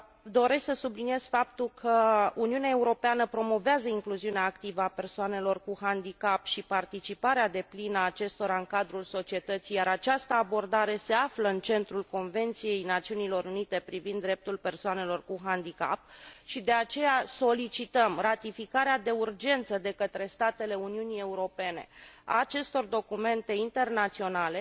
Doresc să subliniez faptul că Uniunea Europeană promovează incluziunea activă a persoanelor cu handicap și participarea deplină a acestora în cadrul societății, iar această abordare se află în centrul Convenției Națiunilor Unite privind dreptul persoanelor cu handicap și, de aceea, solicităm ratificarea de urgență de către statele Uniunii Europene a acestor documente internaționale,